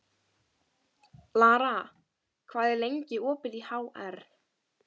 Lara, hvað er lengi opið í HR?